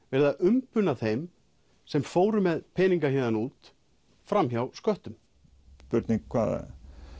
verið að umbuna þeim sem fóru með peninga héðan út fram hjá sköttum spurning hvað